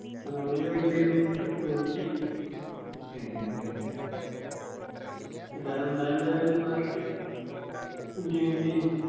അതാങ്ങാനൊരു vibe ആയിരുന്നു trip Ooty ഏർ എല്ലാരും ഇണ്ടായൊണ്ട് ഒരു വേറെ ഒരു enjoyment ഏന്